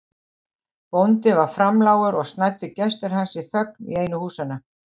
Bóndi var framlágur og snæddu gestir hans í þögn í einu húsanna.